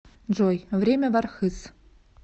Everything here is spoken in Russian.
джой время в архыз